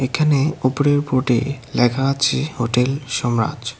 এখানে ওপরের বোর্ড -এ লেখা আছে হোটেল সোমরাজ।